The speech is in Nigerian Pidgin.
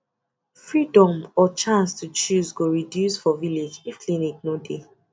freedom or chance to choose go reduce for village if clinic no dey